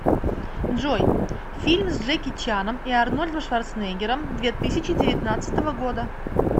джой фильм с джеки чаном и арнольдом шварцнегером две тысячи девятнадцатого года